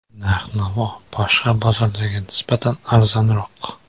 Narx-navo boshqa bozorlarga nisbatan arzonroq.